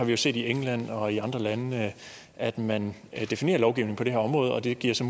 jo set i england og andre lande at man definerer lovgivning på det her område og det giver så